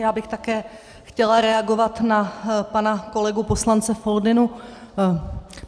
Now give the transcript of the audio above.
Já bych také chtěla reagovat na pana kolegu poslance Foldynu.